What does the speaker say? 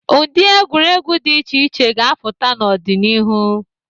Ụdị egwuregwu dị iche iche ga-apụta n'ọdịnihu.